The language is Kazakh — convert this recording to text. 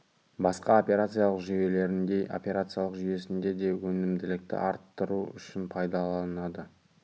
басқа операциялық жүйелеріндей операциялық жүйесінде де өнімділікті арттыру үшін пайдаланады